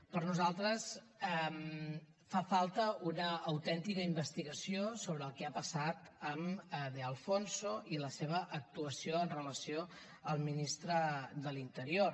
per nosaltres fa falta una autèntica investigació sobre el que ha passat amb de alfonso i la seva actuació amb relació al ministre de l’interior